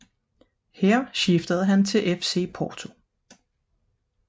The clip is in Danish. Her skiftede han til FC Porto